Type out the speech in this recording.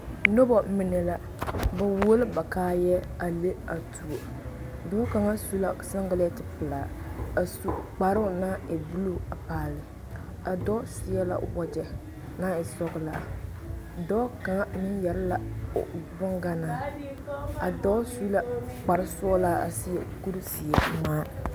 Noba mine la ba who la ba kaayɛ a le a tuo dɔɔ kaŋ su la sengelente pelaa a su kparoo naŋ e buluu a dɔɔ seɛ la wagyɛ naŋ e sɔgelaa dɔɔ kaŋa meŋ yɛrɛ la o boŋganaa ka dɔɔ su la kpar sɔgelaa a seɛ kuri zeɛ ŋmaa